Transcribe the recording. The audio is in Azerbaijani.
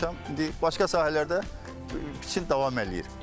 İndi başqa sahələrdə biçin davam eləyir.